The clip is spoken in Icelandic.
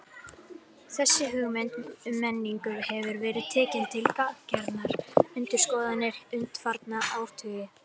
Þessi hugmynd um menningu hefur verið tekin til gagngerrar endurskoðunar undanfarna áratugi.